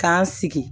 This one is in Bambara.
K'an sigi